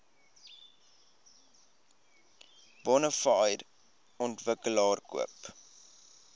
bonafide ontwikkelaar koop